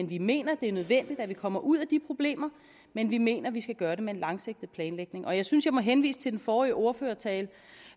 vi mener det er nødvendigt at vi kommer ud af de problemer men vi mener at vi skal gøre det med en langsigtet planlægning jeg synes jeg må henvise til den forrige ordførertale